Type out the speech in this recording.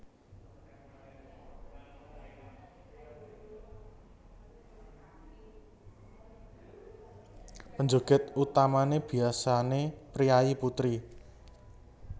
Penjoget utamané biasané priyayi putri